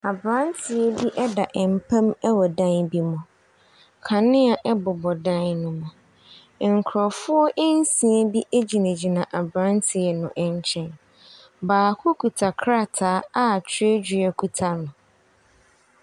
Aberanteɛ bi da mpa mu wɔ dan bi mu, kanea bobɔ dan ne mu, nkurɔfoɔ nsia bi gyinagyina aberanteɛ no nkyɛn, baako kita krataa a twerɛdua kita no.